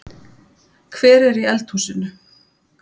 Hver er í eldhúsinu?